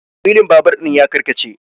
wilin babur ɗin ya karkace